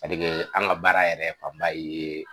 Sadike an ka baara yɛrɛ faba ye